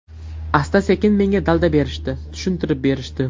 Asta-sekin menga dalda berishdi, tushuntirib berishdi.